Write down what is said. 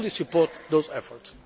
I fully support those efforts.